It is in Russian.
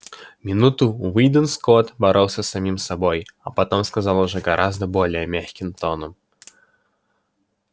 минуту уидон скотт боролся с самим собой а потом сказал уже гораздо более мягким тоном